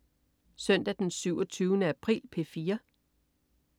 Søndag den 27. april - P4: